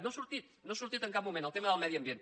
no ha sortit no ha sortit en cap moment el tema del medi ambient